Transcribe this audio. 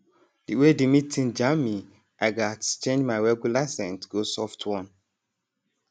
the way the meeting jam me i gatz change my regular scent go soft one